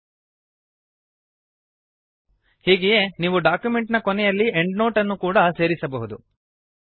ಹೀಗೆಯೇ ನೀವು ಡಾಕ್ಯುಮೆಂಟ್ ನ ಕೊನೆಯಲ್ಲಿ ಎಂಡ್ನೋಟ್ ಅನ್ನು ಕೂಡಾ ಸೇರಿಸಬಹುದು